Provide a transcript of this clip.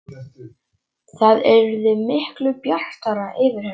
Það yrði miklu bjartara yfir henni.